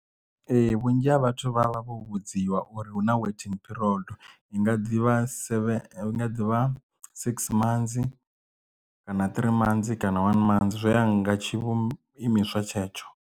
Ee vhunzhi ha vhathu vha vha vho vhudziwa uri hu na waiting period i nga ḓivha seven inga ḓivha six months kana three mansi kana one manzi zwo ya nga tshivhumbeo imiswa tshetsho.